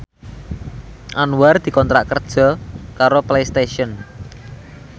Anwar dikontrak kerja karo Playstation